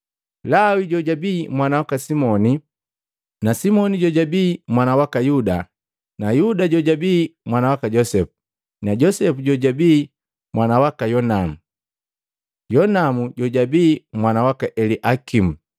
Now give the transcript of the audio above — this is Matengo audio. Lawi jojabi mwana waka Simoni, Simoni jojabii mwana waka Yuda, Yuda jojabii mwana waka Josepu, Josepu jojabii mwana waka Yonamu, Jonamu jojabii mwana waka Eliakimu,